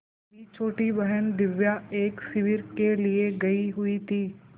मेरी छोटी बहन दिव्या एक शिविर के लिए गयी हुई थी